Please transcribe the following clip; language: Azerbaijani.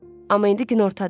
Amma indi günortadır.